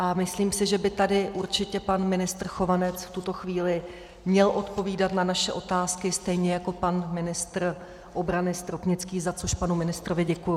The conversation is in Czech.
A myslím si, že by tady určitě pan ministr Chovanec v tuto chvíli měl odpovídat na naše otázky, stejně jako pan ministr obrany Stropnický, za což panu ministrovi děkuji.